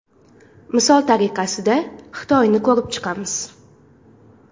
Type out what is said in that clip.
Misol tariqasida, Xitoyni ko‘rib chiqamiz.